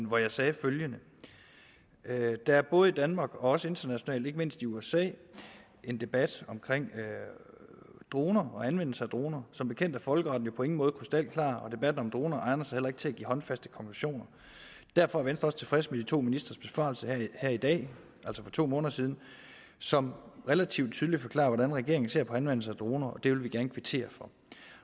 hvor jeg sagde følgende der er både i danmark og også internationalt ikke mindst i usa en debat om droner og anvendelse af droner som bekendt er folkeretten jo på ingen måde krystalklar og debatten om droner egner sig heller ikke til at give håndfaste konklusioner derfor er venstre også tilfreds med de to ministres besvarelse her i dag altså for to måneder siden som relativt tydeligt forklarer hvordan regeringen ser på anvendelse af droner og det vil vi gerne kvittere for